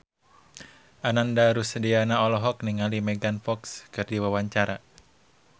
Ananda Rusdiana olohok ningali Megan Fox keur diwawancara